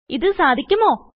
ഇത് സാധിക്കുമോ160